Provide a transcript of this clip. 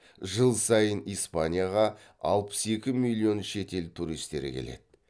жыл сайын испанияға алпыс екі миллион шет ел туристері келеді